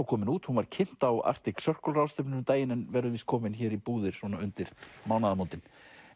komin út hún var kynnt á Arctic Circle ráðstefnunni um daginn en verður víst komin hér í búðir svona undir mánaðamótin